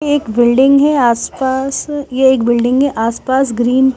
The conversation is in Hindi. एक बिल्डिंग है आसपास ये एक बिल्डिंग है आसपास ग्रीन --